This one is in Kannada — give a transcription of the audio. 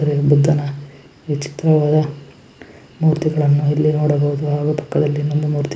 ವಿಚಿತ್ರವಾದ ಮೂರ್ತಿಗಳನ್ನು ಇಲ್ಲಿ ನೋಡಬಹುದು ಹಾಗು ಪಕ್ಕದಲ್ಲಿ ಇನ್ನೊಂದು ಮೂರ್ತಿ--